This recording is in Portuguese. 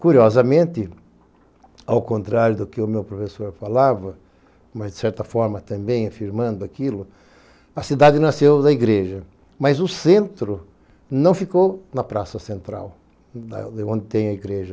curiosamente, ao contrário do que o meu professor falava, mas de certa forma também afirmando aquilo, a cidade nasceu da igreja, mas o centro não ficou na praça central, onde tem a igreja.